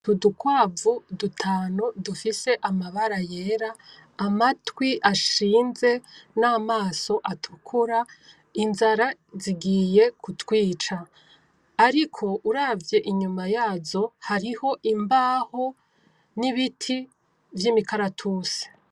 Udukwavu dutanu dufise amabara yera, amatwi ashinze n'amaso atukura. Inzara zigiye kutwica. Ariko uravye inyuma yazo hariho imbaho n'ibiti vy'imikaratusi.